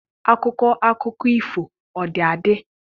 Akụkọ akụkọ ifo ọ dị adị?